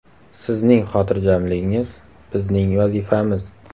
Sizning xotirjamligingiz – bizning vazifamiz!